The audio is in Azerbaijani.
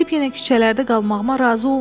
Gedib yenə küçələrdə qalmağıma razı olmayın.